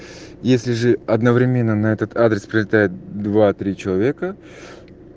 если же одновременно на этот адрес прилетает два три человека